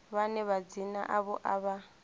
vhane madzina avho a vha